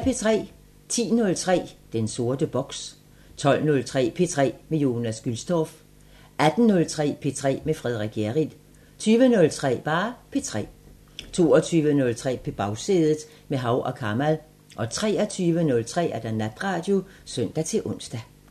10:03: Den sorte boks 12:03: P3 med Jonas Gülstorff 18:03: P3 med Frederik Hjerrild 20:03: P3 22:03: På Bagsædet – med Hav & Kamal 23:03: Natradio (søn-ons)